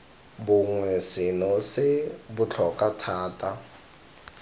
bongwe seno se botlhokwa thata